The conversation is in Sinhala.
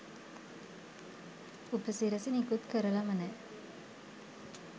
උපසිරසි නිකුත් කරලම නෑ.